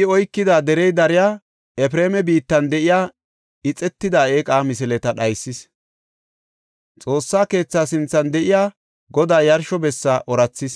I oykida derey dariya Efreema biittan de7iya ixetida eeqa misileta dhaysis. Xoossa keethaa sinthan de7iya Godaa yarsho bessa oorathis.